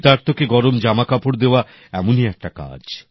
শীতার্তকে গরম জামাকাপড় দেওয়া এমনই একটা কাজ